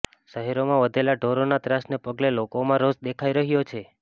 શહેરમાં વધેલા ઢોરોના ત્રાસને પગલે લોકોમાં રોષ દેખાઈ રહ્યો છે